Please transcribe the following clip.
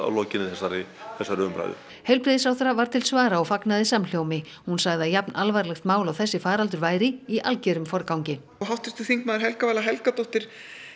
lokinni þessari þessari umræðu heilbrigðisráðherra var til svara og fagnaði samhljómi hún sagði að jafn alvarlegt mál og þessi faraldur væri í algerum forgangi háttvirtur þingmaður Helga Vala Helgadóttir